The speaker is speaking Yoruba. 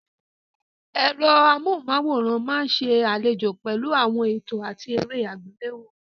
Ẹ̀rọ amóhùnmáwòrán máa ń ṣe àlejò pẹ̀lú àwọn ètò àti eré àgbéléwò.